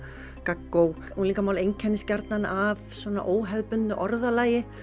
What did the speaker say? gaggó unglingamál einkennist gjarnan af svona óhefðbundnu orðalagi